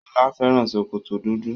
Sola fẹ́ràn ṣòkòtò dúdú.